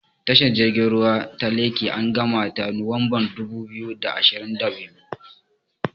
Tashar jirgin ruwa ta Lekki an gamata a Nuwanbar dubu biyu da ashirin da biyu.